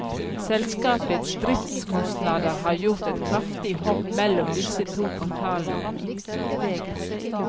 Selskapets driftskostnader har gjort et kraftig hopp mellom disse to kvartalene.